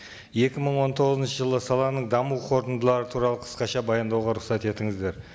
екі мың он тоғызыншы жылы саланың даму қорытындылары туралы қысқаша баяндауға рұқсат етіңіздер